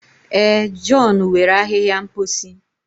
Ee, john were ahịhịa mposi.